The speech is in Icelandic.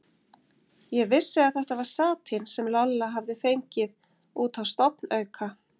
Ég vissi að þetta var satín sem Lolla hafði fengið út á stofnauka.